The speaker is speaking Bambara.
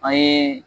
An ye